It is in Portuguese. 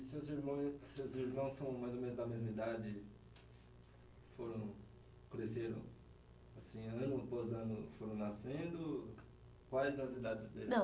os seus irmã seus irmãos são mais ou menos da mesma idade, foram, cresceram, assim, ano após ano foram nascendo... Quais as idades deles? Não